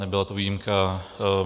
Nebyla to výjimka.